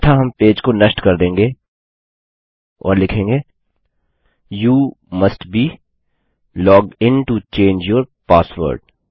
अन्यथा हम पेज को नष्ट कर देंगे और लिखेंगे you must be logged in to change your password